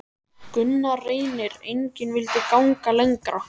Gunnar Reynir: Engin vildi ganga lengra?